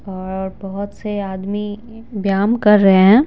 और बहुत से आदमी व्यायाम कर रहे हैं।